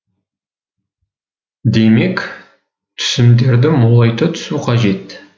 демек түсімдерді молайта түсу қажет